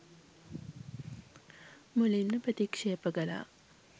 මුලින්ම ප්‍රතික්ෂේප කළා.